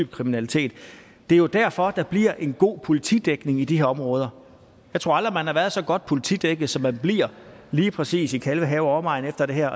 kriminalitet og det er jo derfor at der bliver en god politidækning i de her områder jeg tror aldrig man har været så godt politidækket som man bliver lige præcis i kalvehave og omegn efter det her